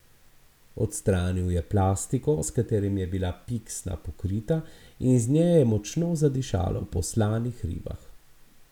Odstranil je plastiko, s katero je bila piksna pokrita, in iz nje je močno zadišalo po slanih ribah.